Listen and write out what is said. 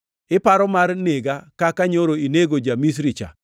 Iparo mar nega kaka nyoro inego ja-Misri cha?’ + 7:28 \+xt Wuo 2:14\+xt*